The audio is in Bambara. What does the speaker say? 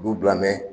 B'u bila mɛ